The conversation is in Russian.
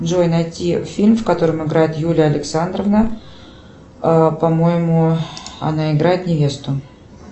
джой найти фильм в котором играет юлия александровна по моему она играет невесту